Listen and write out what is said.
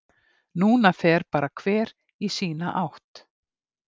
Núna fer bara hver í sína átt.